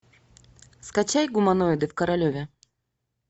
скачай гуманоиды в королеве